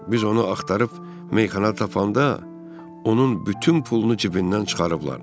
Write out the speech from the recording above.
Biz onu axtarıb meyxana tapanda onun bütün pulunu cibindən çıxarıblar.